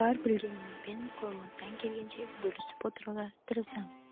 бар білгенімізбен қолымыздан келгенше бөлісіп отыруға тырысамыз